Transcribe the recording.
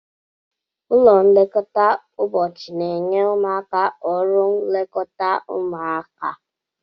Ụlọ nlekọta ụbọchị na-enye ụmụaka ọrụ nlekọta ụmụaka